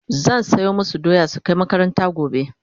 zan soya masu doya su Kai makaranta gobe